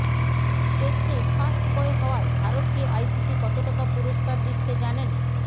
টেস্টে first boy হওয়ায় ভারতকে আইসিসি কত টাকা পুরস্কার দিচ্ছে জানেন